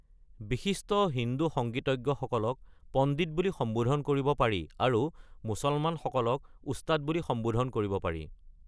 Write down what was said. বিশিষ্ট হিন্দু সংগীতজ্ঞসকলক পণ্ডিত বুলি সম্বোধন কৰিব পাৰি, আৰু মুছলমানসকলক উস্তাদ বুলি সম্বোধন কৰিব পাৰি।